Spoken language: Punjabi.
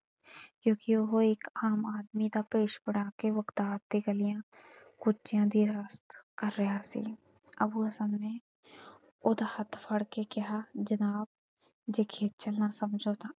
ਕਿਉਂਕਿ ਉਹ ਇੱਕ ਆਮ ਆਦਮੀ ਦਾ ਭੇਸ਼ ਬਣਾ ਕੇ ਬਗ਼ਦਾਦ ਦੀਆਂ ਗਲੀਆਂ ਕੁਜਿਆਂ ਦੀ ਰਾਖ ਕਰ ਰਿਹਾ ਸੀ। ਅੱਬੂ ਹਸਨ ਨੇ ਉਹਦਾ ਹੱਥ ਫੜ ਕੇ ਕਿਹਾ ਜਨਾਬ ਜੇ ਖੇਚਲ਼ ਨਾ ਸਮਝੋ ਤਾਂ।